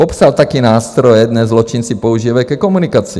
Popsal taky nástroje, které zločinci používají ke komunikaci.